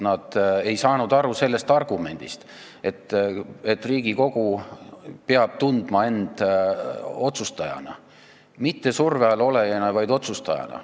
Nad ei saanud aru sellest argumendist, et Riigikogu peab tundma end otsustajana – mitte surve all olejana, vaid otsustajana.